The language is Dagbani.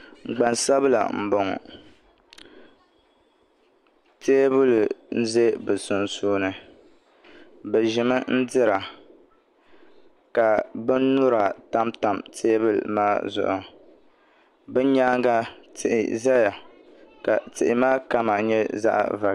gban'sabila m-bɔŋɔ teebuli za bɛ sunsuuni bɛ ʒimi n-dira ka binnyura tamtam teebuli maa zuɣu bɛ nyaaŋa tihi zaya ka tihi maa kama nye zaɣ'va